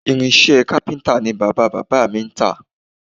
Irinṣẹ́ kápíntà ni bàbá-bàbá mi ń tà